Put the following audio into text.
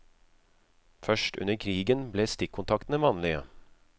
Først under krigen ble stikkontaktene vanlige.